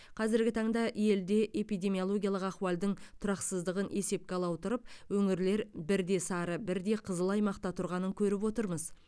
қазіргі таңда елде эпидемиологиялық ахуалдың тұрақсыздығын есепке ала отырып өңірлер бірде сары бірде қызыл аймақта тұрғанын көріп отырмыз